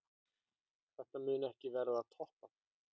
Þetta mun ekki verða toppað.